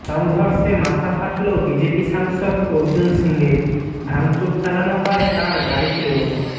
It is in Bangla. সংঘর্ষে মাথা ফাটল বিজেপি সাংসদ অর্জুন সিংয়ের ভাঙচুর চালানো হয় তাঁর গাড়িতেও